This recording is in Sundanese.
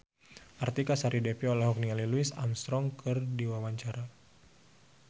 Artika Sari Devi olohok ningali Louis Armstrong keur diwawancara